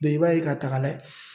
Dɔnke i b'a ye k'a ta k'a layɛ